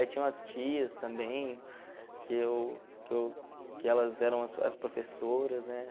Aí tinham as tias também, que eu que eu que elas eram as as professoras, né?